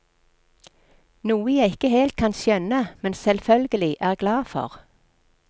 Noe jeg ikke helt kan skjønne, men selvfølgelig er glad for.